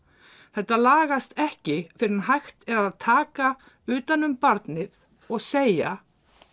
þetta lagast ekki fyrren hægt er að taka utan um barnið og segja